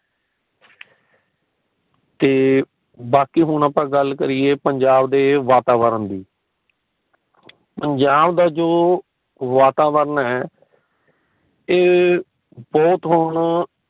ਤੇ ਬਾਕੀ ਹੁਣ ਆਪਾ ਗੱਲ ਕਰੀਏ ਪੰਜਾਬ ਦੇ ਵਾਤਾਵਰਨ ਦੀ ਪੰਜਾਬ ਦਾ ਵਾਤਾਵਰਨ ਪੰਜਾਬ ਦਾ ਜੋ ਵਾਤਾਵਰਨ ਹੈ ਏ ਬਹੁਤ ਹੁਣ